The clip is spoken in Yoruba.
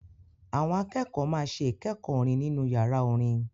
Àwọn akẹ́kọ̀ọ́ máa ṣe ìkẹ́kọ̀ọ́ orin nínú yàrá orin.